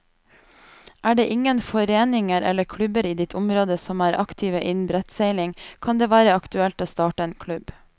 Er det ingen foreninger eller klubber i ditt område som er aktive innen brettseiling, kan det være aktuelt å starte en klubb.